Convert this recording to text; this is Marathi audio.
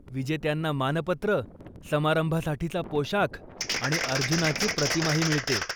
विजेत्यांना मानपत्र, समारंभासाठीचा पोशाख आणि अर्जुनाची प्रतिमाही मिळते.